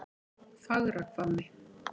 Fagrahvammi